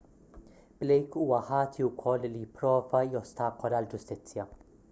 blake huwa ħati wkoll li pprova jostakola l-ġustizzja